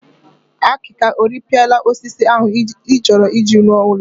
Akịka o rịpịara osisi ahụ ị chọrọ iji rọ ụlọ?